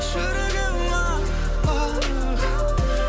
жүрегім ақ ақ